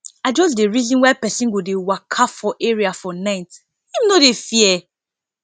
i just dey reason why pesin go dey waka for area for night him no dey fear